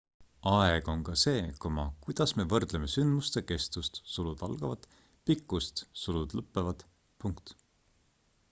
aeg on ka see kuidas me võrdleme sündmuste kestust pikkust